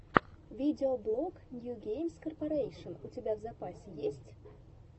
видеоблог нью геймс корпарэйшн у тебя в запасе есть